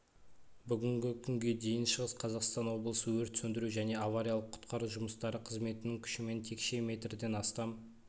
бүгінгі күнге дейін шығыс қазақстан облысы өрт сөндіру және авариялық-құтқару жұмыстары қызметінің күшімен текше метрден астам